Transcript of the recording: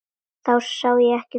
Þá sá ég ekki glóru.